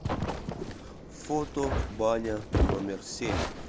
фото баня номер семь